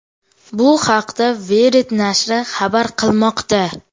Bu haqda Wired nashri xabar qilmoqda .